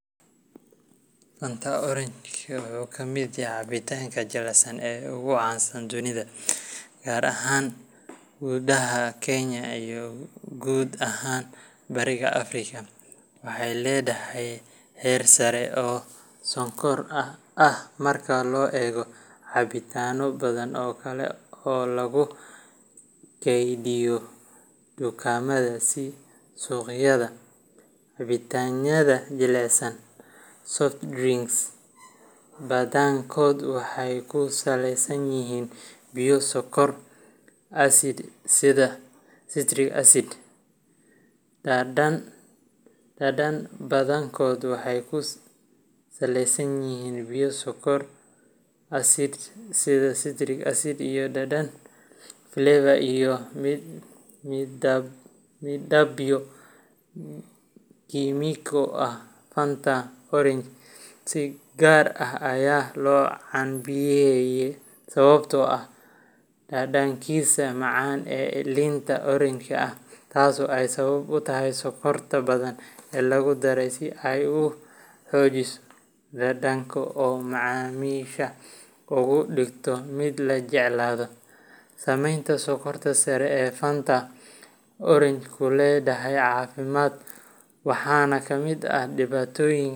Fanta Orange, oo ka mid ah cabitaannada jilicsan ee ugu caansan dunida, gaar ahaan gudaha Kenya iyo guud ahaan Bariga Afrika, waxay leedahay heer sare oo sonkor ah marka loo eego cabitaanno badan oo kale oo lagu kaydiyo dukaamada iyo suuqyada. Cabitaannada jilicsan soft drinks badankood waxay ku saleysan yihiin biyo, sonkor, acid, sida citric acid, dhadhan flavor, iyo midabyo kiimiko ah. Fanta Orange si gaar ah ayaa loo caanbixiyey sababtoo ah dhadhankiisa macaan ee liinta oranji ah, taasoo ay sabab u tahay sonkorta badan ee lagu daray si ay u xoojiso dhadhanka oo macaamiisha uga dhigto mid la jeclaado. Saameynta sonkorta sare ee Fanta Orange ku leedahay caafimaadka waxana ka mid ah dhibaatooyin.